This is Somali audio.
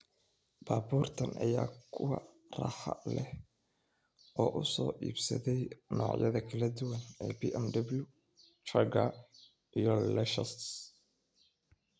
Baabuurtan ayaa ah kuwa raaxa leh oo uu soo iibsaday noocyada kala duwan ee BMW, Jaguar iyo Lexus.